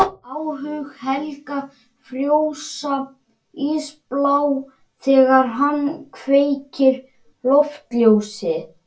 Plöntusteingervingar eru einna best varðveittir í blágrýtismynduninni á Vestfjörðum.